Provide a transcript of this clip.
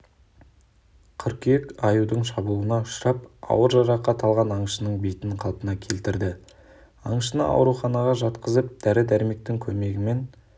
қыркүйек аюдың шабуылына ұшырап ауыр жарақат алған аңшының бетін қалпына келтірді аңшыны ауруханаға жатқызып дәрі-дәрмектің көмегімен